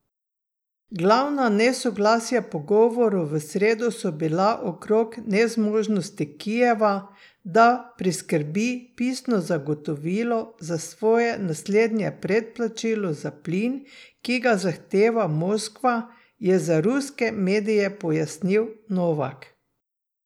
Glavna nesoglasja pogovorov v sredo so bila okrog nezmožnosti Kijeva, da priskrbi pisno zagotovilo za svoje naslednje predplačilo za plin, ki ga zahteva Moskva, je za ruske medijev pojasnil Novak.